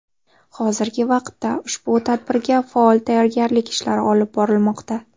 Hozirgi vaqtda ushbu tadbirga faol tayyorgarlik ishlari olib borilmoqda.